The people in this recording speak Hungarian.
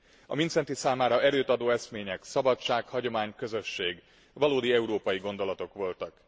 A Mindszenty számára erőt adó eszmények szabadság, hagyomány, közösség valódi európai gondolatok voltak.